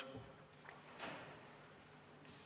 Istungi lõpp kell 15.51.